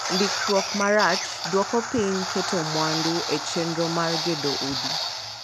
Ndikruok marach duoko piny keto mwandu e chenro mar gedo udi.